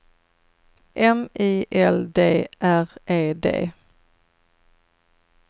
M I L D R E D